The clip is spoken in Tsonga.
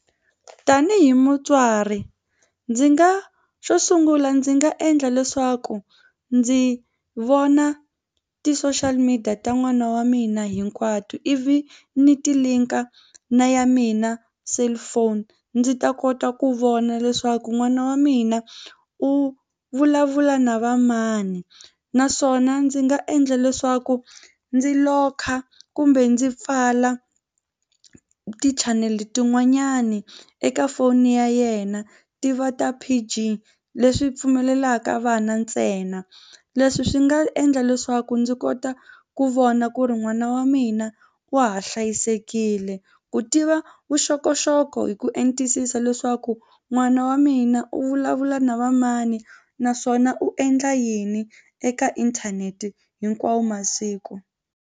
Tanihi mutswari ndzi nga xo sungula ndzi nga endla leswaku ndzi vona ti-social media ta n'wana wa mina hinkwato ivi ni ti link-a na ya mina cellphone ndzi ta kota ku vona leswaku n'wana wa mina u vulavula na va mani naswona ndzi nga endla leswaku ndzi locker kumbe ndzi pfala tichanele tin'wanyani eka foni ya yena ti va ta P_G leswi pfumelelaka vana ntsena. Leswi swi nga endla leswaku ndzi kota ku vona ku ri n'wana wa mina wa ha hlayisekile u tiva vuxokoxoko hi ku entisisa leswaku n'wana wa mina u vulavula na va mani naswona u endla yini eka inthanete hinkwawo masiku.